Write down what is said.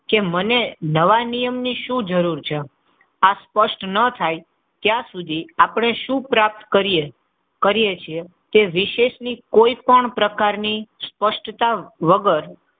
કે મને નવા નિયમ ની શું જરૂર છે? આ સ્પષ્ટ ન થાય ત્યાં સુધી આપણે શું પ્રાપ્ત કરીએ છીએ એ વિશેષ ની કોઈ પણ પ્રકારની સ્પષ્ટતા વગર,